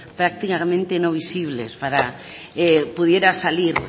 prácticamente no visibles pudiera salir